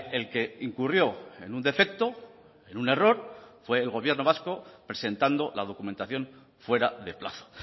el que incurrió en un defecto en un error fue el gobierno vasco presentando la documentación fuera de plazo